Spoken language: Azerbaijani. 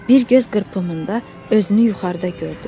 Bir göz qırpımında özünü yuxarıda gördü.